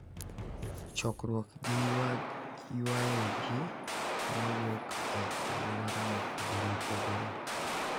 Chokruok gi ywayo ji ma wuok e alwora mopogore opogore,